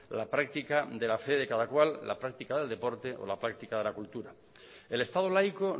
la práctica de la fe de cada cual la práctica del deporte o la práctica de la cultura el estado laico